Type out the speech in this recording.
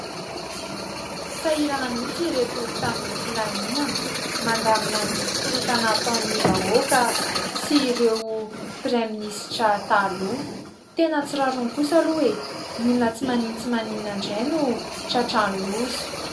Sahirana mihitsy ireto mpitandron'ny filaminana mandamina ny korotana ataon'ny vahoaka sy ireo praiminisitra taloha. Tena tsy rariny kosa aloha E, olona tsy maninona tsy maninona indray no tratra ny loza.